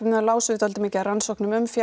þá lásum við dálítið mikið af rannsóknum um